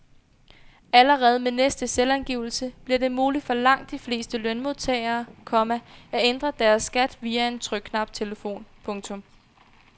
Allerede med næste selvangivelse bliver det muligt for langt de fleste lønmodtagere, komma at ændre deres skat via en trykknaptelefon. punktum